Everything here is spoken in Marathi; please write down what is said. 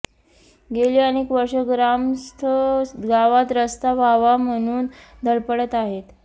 गेली अनेक वर्षे ग्रामस्थ गावात रस्ता व्हावा म्हणून धडपडत आहेत